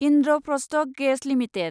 Indraprastha gas limited